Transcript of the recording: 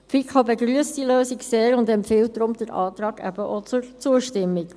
Die FiKo begrüsst diese Lösung sehr und empfiehlt Ihnen, auch diesem Antrag zuzustimmen.